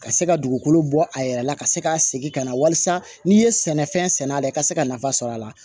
Ka se ka dugukolo bɔ a yɛrɛ la ka se ka segin ka na wali san n'i ye sɛnɛfɛn sɛnɛ a la i ka se ka nafa sɔrɔ a la